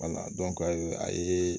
a ye